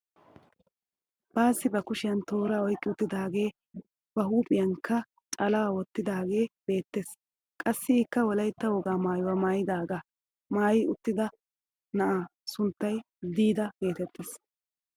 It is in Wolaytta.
Baassi ba kushiyaan toora oyqqi uttidagee ba huuphphiyaankka calaa wottidagee beettees. qassi ikka wolaytta wogaa maayuwaa milatiyaaga maayi uttida na'aa sunttay diida geettees.